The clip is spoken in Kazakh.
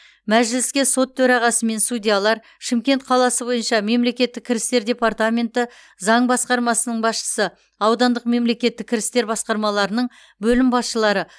мәжіліске сот төрағасы мен судьялар шымкент қаласы бойынша мемлекеттік кірістер департаменті заң басқармасының басшысы аудандық мемлкеттік кірістер басқармаларының бөлім басшылары